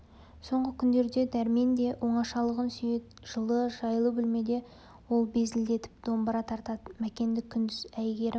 соңғы күндерде дәрмен де оңашалығын сүйеді жылы жайлы бөлмеде ол безілдетіп домбыра тартады мәкенді күндіз әйгерім